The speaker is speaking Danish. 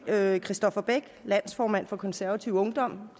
andet kristoffer beck landsformand for konservativ ungdom